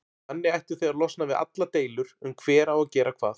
Þannig ættuð þið að losna við allar deilur um hver á að gera hvað.